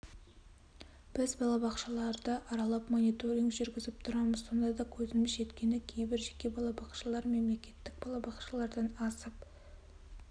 біз бақшаларды аралап мониторинг жүргізіп тұрамыз сонда көзіміз жеткені кейбір жеке балабақшалар мемлекеттік балабақшалардан асып